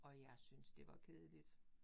Og jeg syntes det var kedeligt